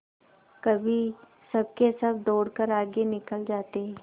कभी सबके सब दौड़कर आगे निकल जाते